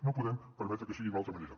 no podem permetre que sigui d’una altra manera